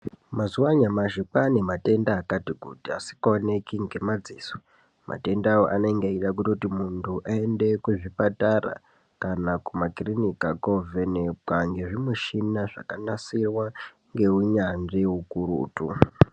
Mazuva anyamashi kwane matenda akati kuti asikaoneki ngemadziso matendawo anenge eitoda muntu aende kuzvipatara kana kumakiliniki kovhenekwa ngezvimushina zvakanasirwa ngeunyatsvi ukurutu.